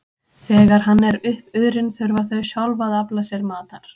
Þegar hann er uppurinn þurfa þau sjálf að afla sér matar.